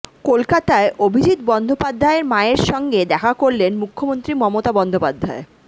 কলকাতায় অভিজিৎ বন্দ্যোপাধ্যায়ে মায়ের সঙ্গে দেখা করলেন মুখ্যমন্ত্রী মমতা বন্দ্যোপাধ্যায়